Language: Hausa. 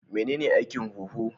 Menene aikin huhu?